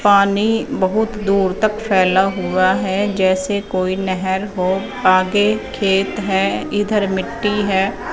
पानी बहोत दूर तक फैला हुआ है जैसे कोई नहर हो आगे खेत है इधर मिट्टी है।